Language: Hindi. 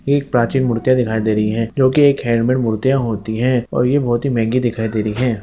ये एक प्राचीन मूर्तियां दिखाई दे रही हैं जो कि एक हैंडमेड मूर्तियां होती हैं और ये बहुत ही महंगी दिखाई दे रही हैं।